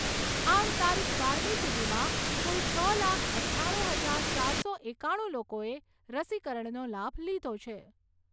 આમ તારીખ બારમી સુધીમાં કુલ છ લાખ અઠ્ઠાણું હજાર ચારસો એકાણું લોકોએ રસીકરણનો લાભ લીધો છે.